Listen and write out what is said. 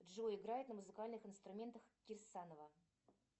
джой играет на музыкальных инструментах кирсанова